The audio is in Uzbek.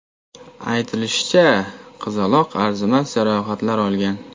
Aytilishicha, qizaloq arzimas jarohatlar olgan.